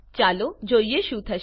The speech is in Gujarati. ચાલો જોઈએ શું થશે